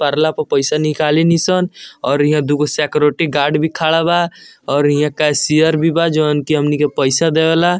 परला पर पैसा निकाली नी सन और यहां दू गो सिक्योरिटी गॉर्ड भी खड़ा बा और यहां केशियर भी बा जोन की हमनी के पैसा देवला।